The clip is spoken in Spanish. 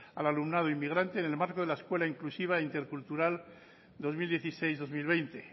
al alumnado inmigrante en el marco de la escuela inclusiva intercultural dos mil dieciséis dos mil veinte